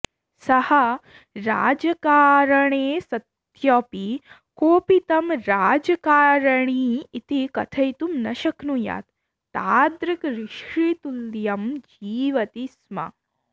सः राजकारणे सत्यपि कोऽपि तं राजकारणी इति कथयितुं न शक्नुयात् तादृक् ऋषितुल्यं जीवति स्म